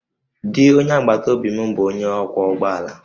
Di onye agbataobi m bụ onye ọkwọ ụgbọ ala